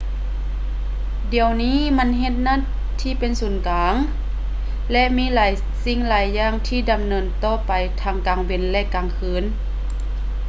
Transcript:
ດຽວນີ້ມັນເຮັດໜ້າທີ່ເປັນສູນກາງ ແລະ ມີຫຼາຍສິ່ງຫຼາຍຢ່າງທີ່ດຳເນີນຕໍ່ໄປທັງກາງເວັນ ແລະ ກາງຄືນ